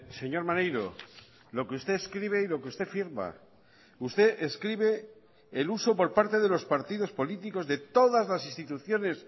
señor maneiro lo que usted escribe y lo que usted firma usted escribe el uso por parte de los partidos políticos de todas las instituciones